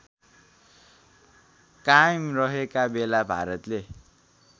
कायम रहेकाबेला भारतले